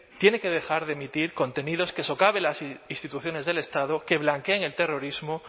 tiene que dejar de emitir contenidos que socaven las instituciones del estado que blanqueen el terrorismo